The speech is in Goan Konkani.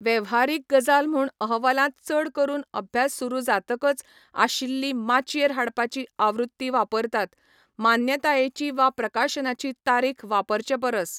वेव्हारीक गजाल म्हूण अहवालांत चड करून अभ्यास सुरू जातकच आशिल्ली माचयेर हाडपाची आवृत्ती वापरतात, मान्यतायेची वा प्रकाशनाची तारीख वापरचे परस.